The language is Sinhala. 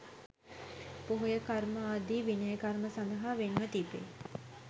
පොහොය කර්ම ආදී විනය කර්ම සඳහා වෙන්ව තිබෙයි.